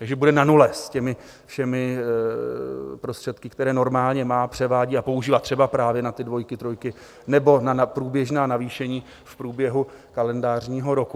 Takže bude na nule s těmi všemi prostředky, které normálně má, převádí a používá třeba právě na ty dvojky, trojky, nebo na průběžná navýšení v průběhu kalendářního roku.